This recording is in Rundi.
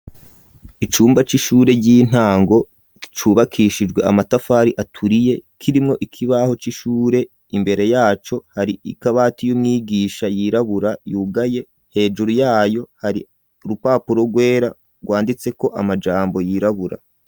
Icumba c'ishure y'intango cubakishijwe amatafari aturiye kirimwo ikibaho c'ishure imbere yaco hari ikabati y'umwigisha yirabura yugaye hejuru yayo hari urupapuro rwera rwanditse ko amajambo yirabura.